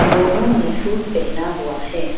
दोनों ने सूट पहना हुआ है।